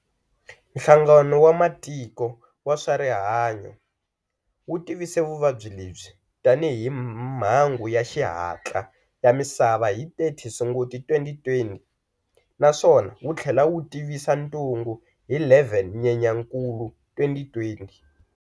Nhlangano wa matiko wa swarihanyo wu tivise vuvabyi lebyi tani hi mhangu ya xihantla ya misava hi 30 Sunguti 2020, naswona wuthlela wu tivisa ntungu hi 11 Nyenyankulu 2020.